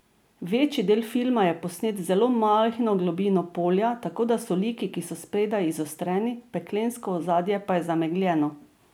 Večji del filma je posnet z zelo majhno globino polja, tako da so liki, ki so spredaj, izostreni, peklensko ozadje pa je zamegljeno.